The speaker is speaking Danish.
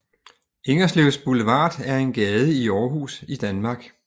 Ingerslevs Boulevard er en gade i Aarhus i Danmark